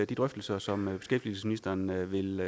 de drøftelser som beskæftigelsesministeren vil vil